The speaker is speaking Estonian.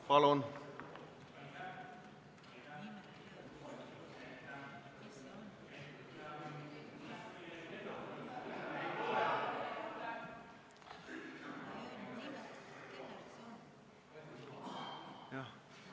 Palun!